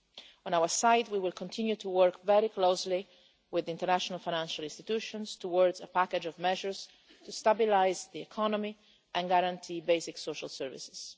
On our side, we will continue to work very closely with international financial institutions towards a package of measures to stabilise the economy and guarantee basic social services.